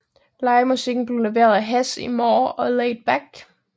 Livemusikken blev leveret af Hess is More og Laid Back